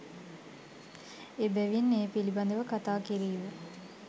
එබැවින් ඒ පිළිබඳ ව කතා කිරීම